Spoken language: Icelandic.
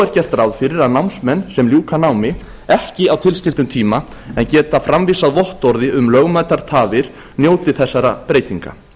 er gert ráð fyrir að námsmenn sem ljúka námi ekki á tilskildum tíma en geta framvísað vottorði um lögmætar tafir njóti þessara breytinga